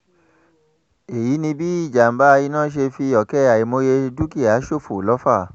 èyí ni bí ìjàm̀bá iná ṣe fi ọ̀kẹ́ àìmọye dúkìá ṣòfò lọ́fà